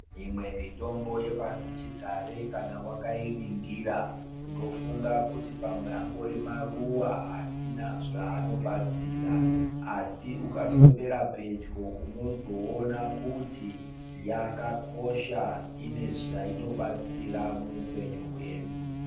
Imwe mitombo yepashi chigare kana wakainingira unofunga kuti pamwe angori maruwa asina zvanobatsira asi ukaswebera pedyo unozoona kuti yakakosha ine zvainobatsira mupenyu hwedu.